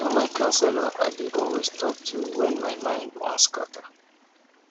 na my counselor i dey always talk to wen my mind wan scatter.